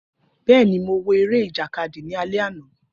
Bẹẹni, Mo wo ere ijakadi ni alẹ ana.